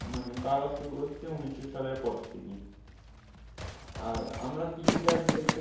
মানে আবার শুরু করছে ঊনিশো সালের পর থেকে আর আমরা কৃষি কাজ বলতে